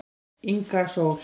Inga Sól